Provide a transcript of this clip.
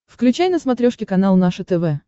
включай на смотрешке канал наше тв